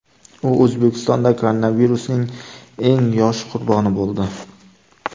U O‘zbekistonda koronavirusning eng yosh qurboni bo‘ldi .